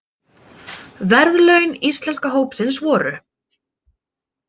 Verðlaun Íslenska hópsins voru